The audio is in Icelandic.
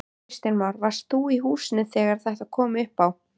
Kristján Már: Varstu í húsinu þegar þetta kom upp á?